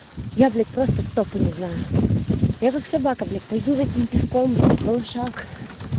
я блять просто тупо не знаю я как собака блять пойду затем пешком болышак